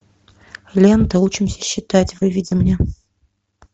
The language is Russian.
лента учимся считать выведи мне